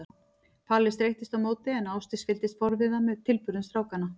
Palli streittist á móti en Ásdís fylgdist forviða með tilburðum strákanna.